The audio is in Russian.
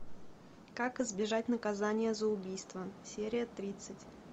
как избежать наказание за убийство серия тридцать